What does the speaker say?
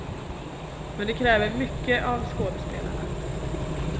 Men det kräver mycket av skådespelarna.